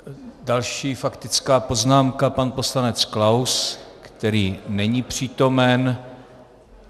Další faktická poznámka - pan poslanec Klaus, který není přítomen.